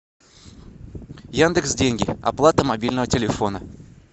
яндекс деньги оплата мобильного телефона